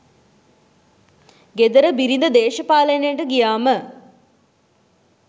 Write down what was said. ගෙදර බිරිඳ දේශපාලනයට ගියාම